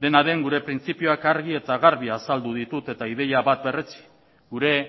dena den gure printzipioak argi eta garbi azaldu ditut eta ideia bat berretsi gure